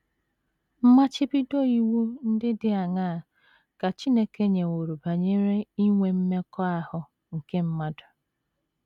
Mmachibido iwu ndị dị aṅaa ka Chineke nyeworo banyere inwe mmekọahụ nke mmadụ?